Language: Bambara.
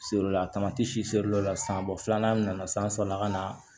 Selew la a tamati si feerelaw la san bɔ filanan min nana san saba ka na